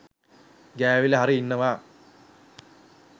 ගෑවිලා හරි ඉන්නවා.